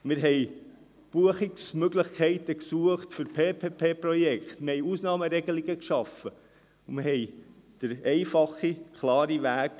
Wir suchten Buchungsmöglichkeiten für Public-Private-Partnership(PPP)-Projekte, wir schufen Ausnahmeregelungen, und wir verliessen den einfachen, klaren Weg.